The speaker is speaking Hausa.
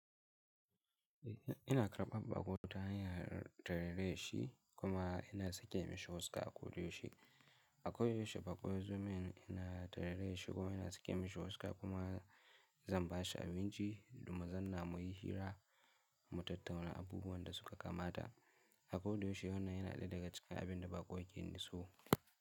Ina karɓar bakotahanyar ta rera yarshi kuma yana sake mishi huska a kodayaushe. A koyaushe bako yazomin ina ta rera yarshi kuma ina sake mishi huska kuma zamba shi a abinci domin zanna mu yi hira mu tattauna abubuwan da suka kamata. A koyaushe wannan yana da ga cikin abin da bakwai ke niso.